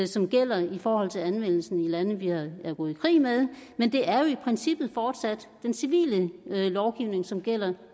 som gælder i forhold til anvendelsen i lande vi er gået i krig med men det er jo i princippet fortsat den civile lovgivning som gælder